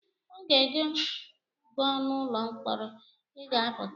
Oge gị gụ n’ụlọ mkpọrọ, ị ga-apụta